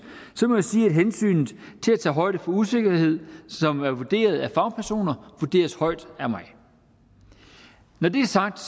må jeg sige at hensynet til at tage højde for usikkerhed som er vurderet af fagpersoner vurderes højt af mig når det er sagt